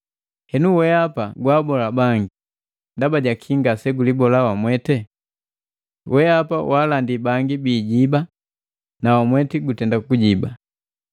Henu weapa, gwaabola bangi ndaba jaki ngase gulibole wamwete? Wehapa walandi bangi biijiba na wamweti gutenda kujiba.